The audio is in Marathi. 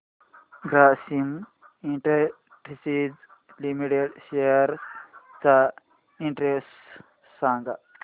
ग्रासिम इंडस्ट्रीज लिमिटेड शेअर्स चा इंडेक्स सांगा